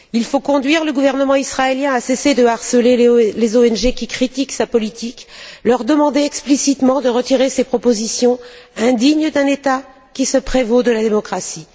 Il faut conduire le gouvernement israélien à cesser de harceler les ONG qui critiquent sa politique, lui demander explicitement de retirer ces propositions indignes d'un État qui se prévaut de la démocratie.